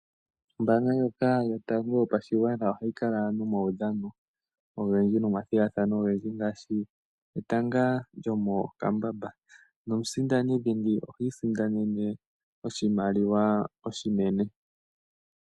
Ombanga ndjoka yotango yopashigwana ohayi kala nomawudhano ogendji nomathigathano ogendji ngaashi etanga lyomokambamba. Nomusindani dhingi ohi isindanene oshimaliwa oshinene.